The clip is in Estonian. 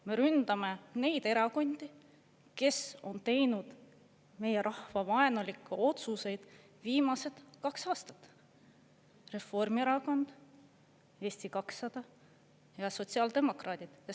Me ründame neid erakondi, kes on teinud meie rahva vaenulikke otsuseid viimased kaks aastat: Reformierakond, Eesti 200 ja sotsiaaldemokraadid.